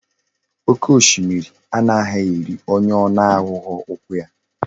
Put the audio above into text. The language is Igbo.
Oke oshimiri anaghi eri onye ona ahughi ukwu ya